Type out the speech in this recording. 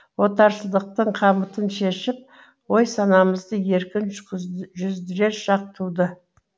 отаршылдықтың қамытын шешіп ой санамызды еркін жүздірер шақ туды